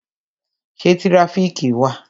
Ṣé tirafiki wà?